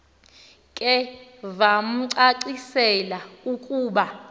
ke vamcacisela ukuba